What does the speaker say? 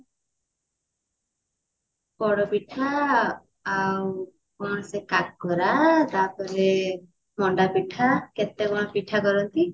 ପୋଡପିଠା ଆଉ କଣ ସେ କାକରା ତାପରେ ମଣ୍ଡା ପିଠା କେତେ କଣ ପିଠା କରନ୍ତି